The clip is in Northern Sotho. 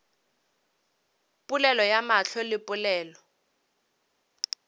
polelo ya mahlo le polelo